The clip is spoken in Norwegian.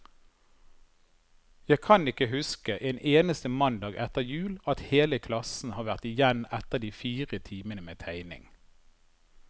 Jeg kan ikke huske en eneste mandag etter jul, at hele klassen har vært igjen etter de fire timene med tegning.